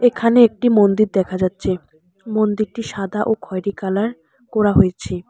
এখানে একটি মন্দির দেখা যাচ্ছে মন্দিরটি সাদা ও খয়রি কালার করা হয়েছে।